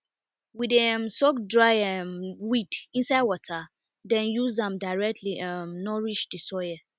we dey um soak dry um weed inside water then use am directly um nourish the soil